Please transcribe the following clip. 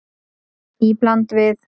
Í bland við